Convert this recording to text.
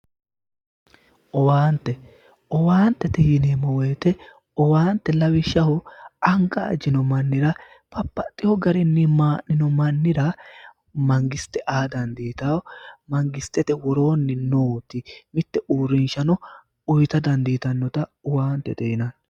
Owaante, owaantete yinneemmo woyte ,owaante lawishshaho anga ajino mannir babbaxeyo garinni maa'nino mannira mangiste aa dandiittano, mangistete worooni nooti mite uurrinsha uyitta dandiittanota owaantete yinnanni